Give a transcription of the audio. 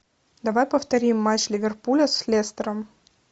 давай повторим матч ливерпуля с лестером